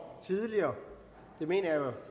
tidligere det mener jeg er